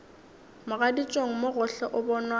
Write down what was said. mogaditšong mo gohle o bonwa